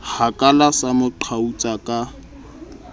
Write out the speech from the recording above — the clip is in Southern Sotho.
hakala sa mo qhautsa ka